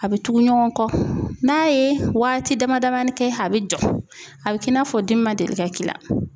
A bɛ tugu ɲɔgɔn kɔ, n'a ye waati dama damani kɛ a bɛ jɔ a bɛ k'i n'a fɔ dimi ma deli ka k'i la .